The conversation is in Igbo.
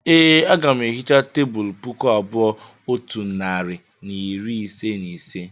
e, Aga m ehicha tebụl puku abụọ otu narị na iri ise na ise